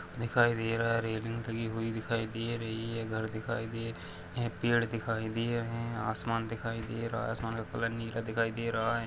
दिखाई दे रहा रेलिंग डली हुई दिखाई दे रही है घर दिखाई दे पेड़ दिखाई दे रहे है आसमान दिखाई दे रहा है आसमान का कलर नीला दिखाई दे रहा है।